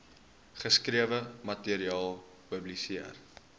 geskrewe materiaal publiseer